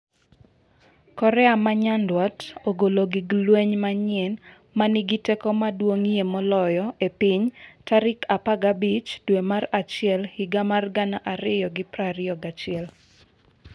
Korea ma Nyanduat ogolo gig lweny manyien 'ma nigi teko maduong'ie moloyo e piny' tarik 15 dwe mar achiel higa mar 2021